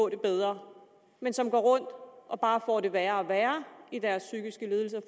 det bedre men som går rundt og bare får det værre og værre i deres psykiske lidelser